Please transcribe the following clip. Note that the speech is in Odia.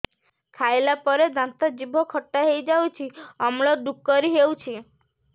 ଖାଇଲା ପରେ ଦାନ୍ତ ଜିଭ ଖଟା ହେଇଯାଉଛି ଅମ୍ଳ ଡ଼ୁକରି ହଉଛି